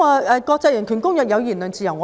我們一向尊重言論自由。